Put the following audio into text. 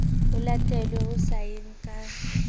ho latelwe ho sayeng ka